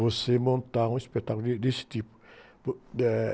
você montar um espetáculo de, desse tipo. eh...